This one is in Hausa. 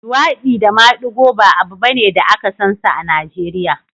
luwaɗi da maɗigo ba abu bane da aka sansa a Najeriya